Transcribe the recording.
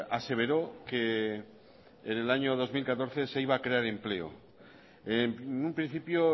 aseveró que en el año dos mil catorce se iba crear empleo en un principio